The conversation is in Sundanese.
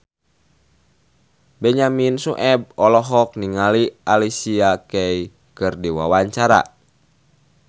Benyamin Sueb olohok ningali Alicia Keys keur diwawancara